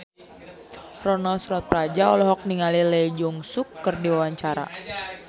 Ronal Surapradja olohok ningali Lee Jeong Suk keur diwawancara